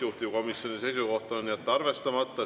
Juhtivkomisjoni seisukoht on jätta arvestamata.